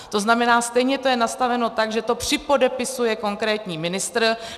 To znamená, stejně to je nastaveno tak, že to připodepisuje konkrétní ministr.